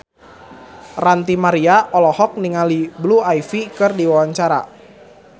Ranty Maria olohok ningali Blue Ivy keur diwawancara